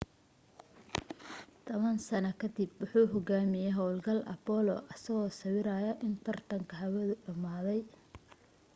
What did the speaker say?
toban sano kadib wuxuu hogaamiyay hawlgalka apollo-isagoo sawiraya in tartanka hawadu dhamaaday